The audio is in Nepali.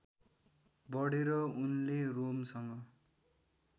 बढेर उनले रोमसँग